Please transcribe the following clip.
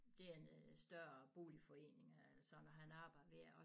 Det er en større boligforening som han arbejder ved og